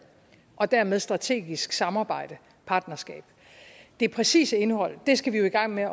og dermed strategisk samarbejde partnerskab det præcise indhold skal vi jo i gang med